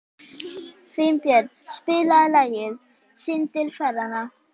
Finnbjörn, spilaðu lagið „Syndir feðranna“.